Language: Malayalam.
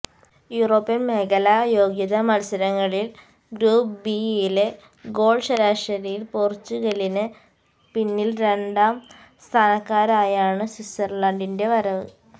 യൂറോപ്യന് മേഖലാ യോഗ്യതാ മത്സരങ്ങളില് ഗ്രൂപ്പ് ബി യില് ഗോള് ശരാശരിയില് പോര്ച്ചുഗലിന് പിന്നില് രണ്ടാം സ്ഥാനക്കാരായാണ് സ്വിറ്റ്സര്ലാന്ഡിന്റെ വരവ്